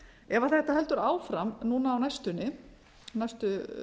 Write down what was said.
ef þetta heldur áfram núna á næstunni næstu